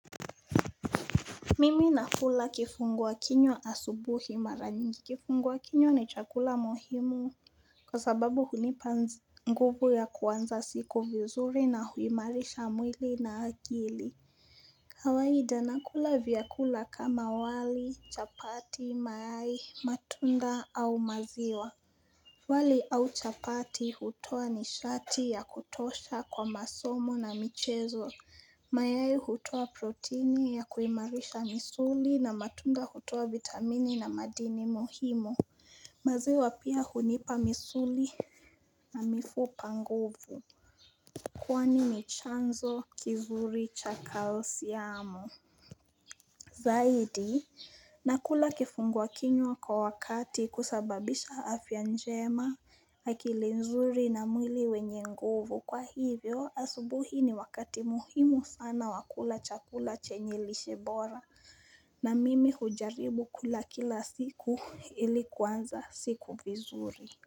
Mimi nakula kifungua kinywa asubuhi mara nyingi kifungua kinywa ni chakula muhimu kwa sababu hunipa nzi nguvu ya kuanza siku vizuri na huimarisha mwili na akili kawaida nakula vyakula kama wali, chapati, mayai, matunda au maziwa wali au chapati hutoa nishati ya kutosha kwa masomo na michezo. Mayai hutoa protini ya kuimarisha misuli na matunda hutoa vitamini na madini muhimu. Maziwa pia hunipa misuli na mifupa nguvu. Kwani chanzo kizuri cha kalsiamu. Zaidi nakula kifungua kinywa kwa wakati kusababisha afya njema akili nzuri na mwili wenye nguvu kwa hivyo asubuhi ni wakati muhimu sana wa kula chakula chenye lishe bora na mimi hujaribu kula kila siku ili kuanza siku vizuri.